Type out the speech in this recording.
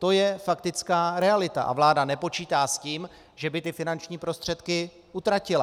To je faktická realita a vláda nepočítá s tím, že by ty finanční prostředky utratila.